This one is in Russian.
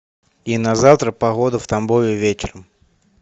и на завтра погода в тамбове вечером